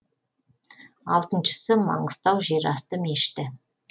алтыншысы маңғыстау жерасты мешіті